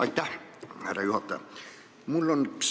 Aitäh, härra juhataja!